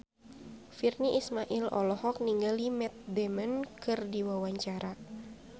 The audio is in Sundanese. Virnie Ismail olohok ningali Matt Damon keur diwawancara